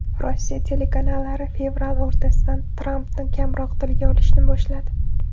Rossiya telekanallari fevral o‘rtasidan Trampni kamroq tilga olishni boshladi.